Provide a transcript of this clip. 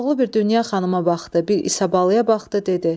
Koroğlu bir Dünya xanıma baxdı, bir İsabalıya baxdı dedi: